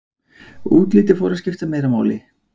útlitið fór að skipta meira máli